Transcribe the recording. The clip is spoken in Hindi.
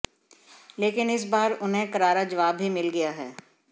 लेकिन इस बार उन्हें करारा जवाब भी मिल गया है